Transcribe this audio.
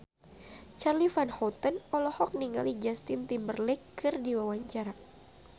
Charly Van Houten olohok ningali Justin Timberlake keur diwawancara